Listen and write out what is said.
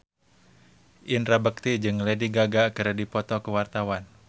Indra Bekti jeung Lady Gaga keur dipoto ku wartawan